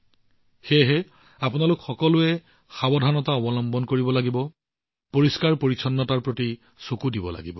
সেয়েহে আপোনালোক সকলোৱে সাৱধানতা অৱলম্বন কৰিব লাগিব আৰু পৰিষ্কাৰপৰিচ্ছন্নতাৰ প্ৰতি সতৰ্ক থাকিব লাগিব